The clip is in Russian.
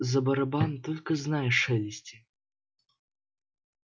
за барабан только знай шелести